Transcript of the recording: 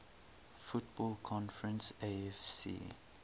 football conference afc